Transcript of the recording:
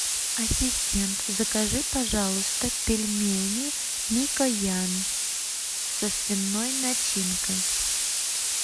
ассистент закажи пожалуйста пельмени микоян со свиной начинкой